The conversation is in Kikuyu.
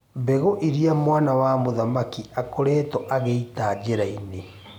Mbegũ iria mwana wa mũthamaki akoretwo agĩita njĩra-inĩ.